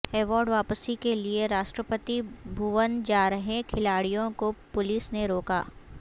award واپسی کے لیے راشٹرپتی بھون جا رہے کھلاڑیوں کو پولس نے روکا